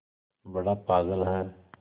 बड़ा पागल है